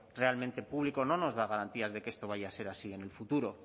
realmente público no nos da garantías de que esto vaya a ser así en el futuro